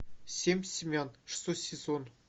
семь семян шестой сезон